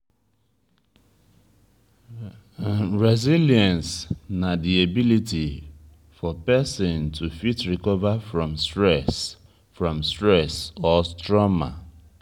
resilience na di ability for person to fit recover from stress from stress or trauma